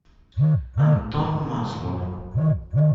антон маслов